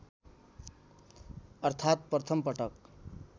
अर्थात् प्रथम पटक